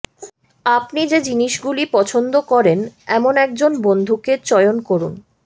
আপনি যে জিনিসগুলি পছন্দ করেন এমন একজন বন্ধুকে চয়ন করুন